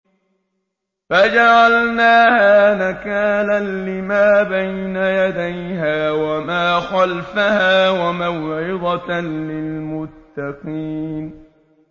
فَجَعَلْنَاهَا نَكَالًا لِّمَا بَيْنَ يَدَيْهَا وَمَا خَلْفَهَا وَمَوْعِظَةً لِّلْمُتَّقِينَ